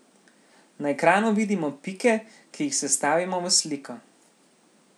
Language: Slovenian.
Na ekranu vidimo pike, ki jih sestavimo v sliko.